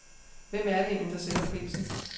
Hvem er det egentlig, der sætter prisen?